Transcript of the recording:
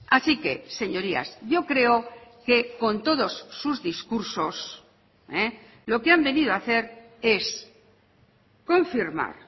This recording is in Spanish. así que señorías yo creo que con todos sus discursos lo que han venido a hacer es confirmar